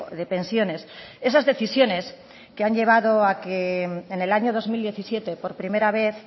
de pensiones esas decisiones que han llevado a que en el año dos mil diecisiete por primera vez